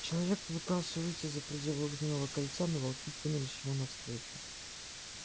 человек попытался выйти за пределы огненного кольца но волки кинулись ему навстречу